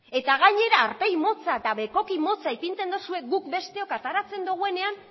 eta gainera aurpegi motza eta bekoki motza ipintzen duzue guk besteok ateratzen dugunean